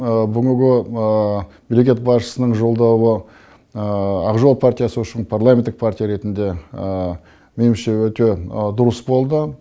бүгінгі мемлекет басшысының жолдауы ақ жол партиясы үшін парламенттік партия ретінде менімше өте дұрыс болды